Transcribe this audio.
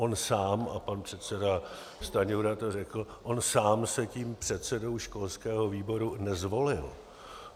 On sám - a pan předseda Stanjura to řekl - on sám se tím předsedou školského výboru nezvolil.